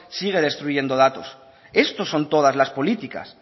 sigue destruyendo datos estos son todas las políticas